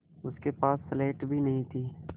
उसके पास स्लेट भी नहीं थी